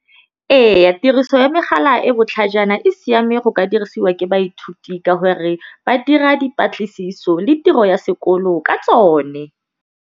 Ee tiriso ya megala e botlhajana e siame go ka dirisiwa ke baithuti ka gore, ba dira dipatlisiso le tiro ya sekolo ka tsone.